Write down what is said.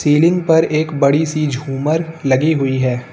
Ceiling पर एक बड़ी सी झूमर लगी हुई है।